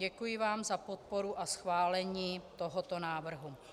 Děkuji vám za podporu a schválení tohoto návrhu.